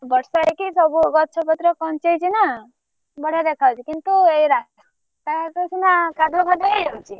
ବର୍ଷା ହେଇକି ସବୁ ଗଛ ପତ୍ର କଂଚେଇଛି ନା ବଢିଆ ଦେଖା ଯାଉଛି କିନ୍ତୁ ଏଇ ରାସ୍ତା ଘାଟ ସିନା କାଦୁଅ ଫାଦଉ ହେଇଯାଉଛି।